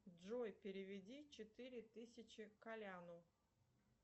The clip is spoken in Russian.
джой переведи четыре тысячи коляну